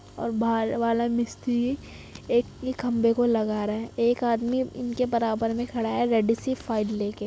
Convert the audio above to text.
और बाहर वाला मिस्त्री एक ई खम्बे को लगा रहा है। एक आदमी इनके बराबर मे खड़ा रेड सी फ़ाइल लेके --